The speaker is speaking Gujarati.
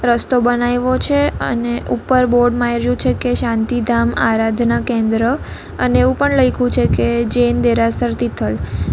રસ્તો બનાયવો છે અને ઉપર બોર્ડ માર્યું છે કે શાંતિધામ આરાધના કેન્દ્ર અને એવું પણ લયખુ છે કે જૈન દેરાસર તિથલ.